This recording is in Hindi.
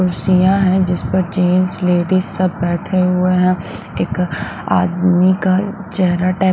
कुर्सियां हैं जिस पर जेंस लेडीज सब बैठे हुए हैं एक आदमी का चेहरा।